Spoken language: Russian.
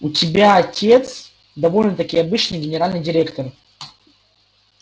у тебя отец довольно-таки обычный генеральный директор